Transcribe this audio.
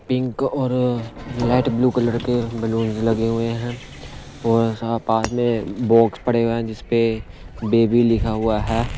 Pink और light blue colour के बैलून लगे हुए हैं और पास में बॉक्स पड़े हुए हैं जिस पे बेबी लिखा हुआ है।